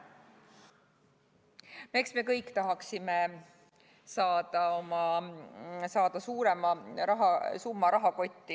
Eks me kõik tahaksime saada suurema summa oma rahakotti.